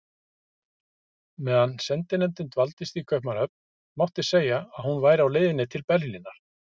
Meðan sendinefndin dvaldist í Kaupmannahöfn, mátti segja, að hún væri á leiðinni til Berlínar.